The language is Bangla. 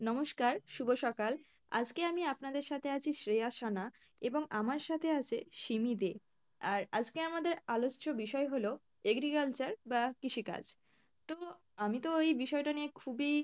নমস্কার শুভ সকাল আজকে আমি আপনাদের সাথে আছি শ্রেয়া সানা এবং আমার সাথে আছে সিমি দে আর আজকে আমাদের আলোচ্য বিষয় হলো agriculture বা কৃষিকাজ, তো আমি তো ওই বিষয় টা নিয়ে খুবিই